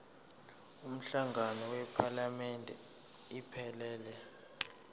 umhlangano wephalamende iphelele